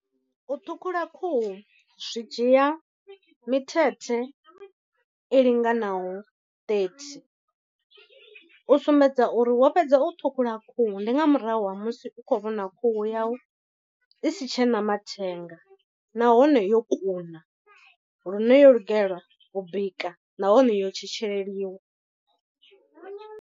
U ṱhukhula khuhu zwi dzhia mithethe i linganaho thirty, u sumbedza uri wo fhedza u ṱhukhula khuhu ndi nga murahu ha musi musi u khou vhona khuhu yau i si tshena mathenga nahone yo kuna lune yo lugela u bika nahone yo tshetsheleliwa.